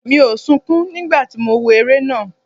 Mi ò sunkún nígbà tí mo wo eré náà.